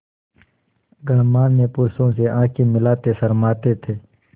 गणमान्य पुरुषों से आँखें मिलाते शर्माते थे